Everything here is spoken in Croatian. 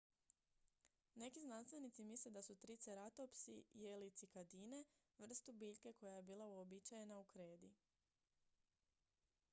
neki znanstvenici misle da su triceratopsi jeli cikadine vrstu biljke koja je bila uobičajena u kredi